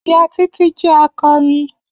Iya Titi jẹ akọrin.